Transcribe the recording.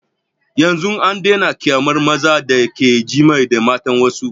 Yanzun an daina kyamar mazan da ke jima'i da matan wassu